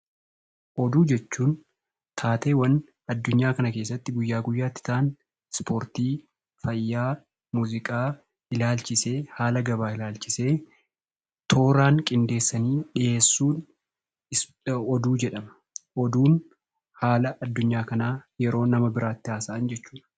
Oduu jechuun taateewwan addunyaa kana keessatti guyyaa guyyaa tti ta'an Spoortii, Fayyaa, Muuziqaa ilaalchisee, haala gabaa ilaalchise tooraan qindeessanii dhiyeessuun 'Oduu' jedhama. Oduun haala addunyaa kanaa yeroo nama biraatti haasa'an jechuu dha.